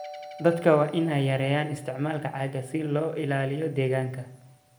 Dadka waa in ay yareeyaan isticmaalka caagga si loo ilaaliyo deegaanka.